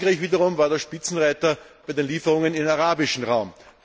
Frankreich wiederum war der Spitzenreiter bei den Lieferungen in den arabischen Raum.